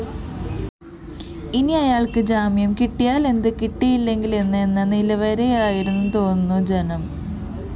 ഇനി അയാള്‍ക്കു ജാമ്യം കിട്ടിയാലെന്ത് കിട്ടിയില്ലെങ്കിലെന്ത് എന്ന നിലവരെയായെന്നുതോന്നുന്നു ജനം